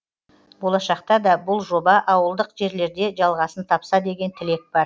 болашақта да бұл жоба ауылдық жерлерде жалғасын тапса деген тілек бар